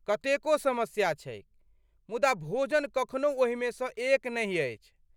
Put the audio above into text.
कतेको समस्या छैक, मुदा भोजन कखनहु ओहिमेसँ एक नहि अछि!